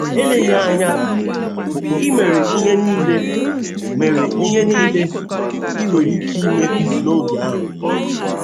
Eleghị anya, i mere ihe nile mere ihe nile i nwere ike ime n’oge ahụ.